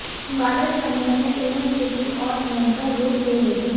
वाले समय में यह स्थिति और भयंकर रूप ले लेगी